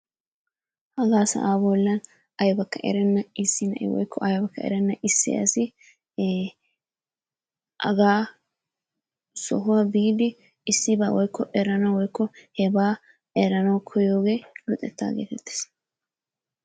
Hagaa sa'aa bollan aybakka erenna issi na'i woykko aybakka erenna issi asi ee hagaa sohuwa biidi issibaa woykko eranawu woykko hebaa eranawu koyiyoogee luxettaa geetettees.